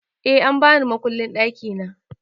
Eh an bani mukullin ɗakina